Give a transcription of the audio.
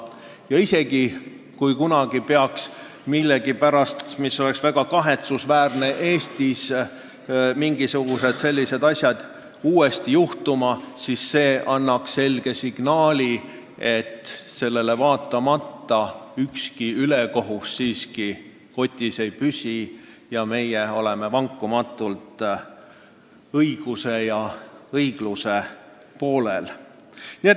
Ja isegi kui kunagi peaks millegipärast – mis oleks väga kahetsusväärne – Eestis mingisugused sellised asjad uuesti juhtuma, siis annaks meie tänane otsus selge signaali: ükski ülekohus kotis ei püsi ja me oleme vankumatult õiguse ja õigluse poolel.